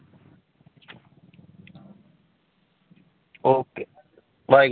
Okay bye